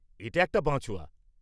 এটা একটা বাঁচোয়া।